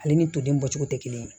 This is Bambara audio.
Ale ni toden bɔcogo tɛ kelen ye